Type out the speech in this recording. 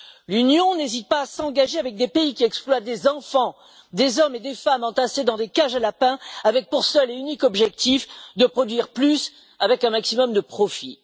L'Union n'hésite pas à s'engager avec des pays qui exploitent des enfants, des hommes et des femmes entassés dans des cages à lapins, avec pour seul et unique objectif de produire plus avec un maximum de profit.